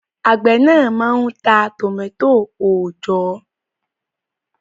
Àgbẹ̀ náà máa ń ta tòmátò òòjọ́